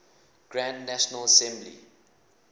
grand national assembly